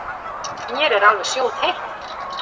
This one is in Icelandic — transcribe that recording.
Mér er alveg sjóðheitt.